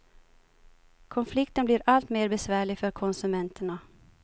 Konflikten blir alltmer besvärlig för konsumenterna.